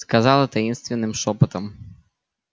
сказала таинственным шёпотом